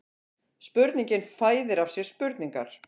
Spurningin fæðir af sér spurningar